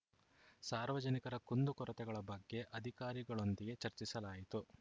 ಸಾರ್ವಜನಿಕರ ಕುಂದು ಕೊರತೆಗಳ ಬಗ್ಗೆ ಅಧಿಕಾರಿಗಳೊಂದಿಗೆ ಚರ್ಚಿಸಲಾಯಿತು